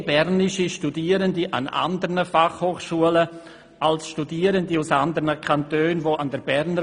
Mehr bernische Studierende studieren an anderen Fachhochschulen als Studierende aus anderen Kantonen an der BFH.